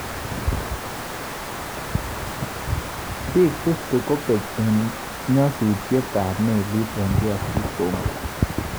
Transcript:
Bik 50 kobek eng ng'asutietab melit DR Congo